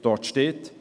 Dort steht: